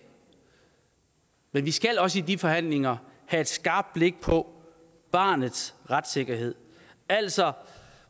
men vi skal også i de forhandlinger have et skarpt blik på barnets retssikkerhed altså